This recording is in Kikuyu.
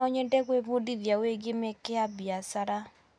No nyende gwĩbundithia wĩgiĩ mĩeke ya biacara.